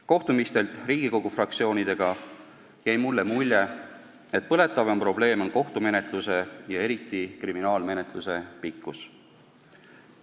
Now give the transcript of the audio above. Kohtumistelt Riigikogu fraktsioonidega jäi mulle mulje, et põletavaim probleem on kohtumenetluse ja eriti kriminaalmenetluse pikkus.